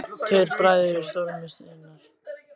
Tveir bræður í stormi sinnar tíðar.